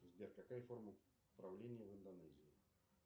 сбер какая форма правления в индонезии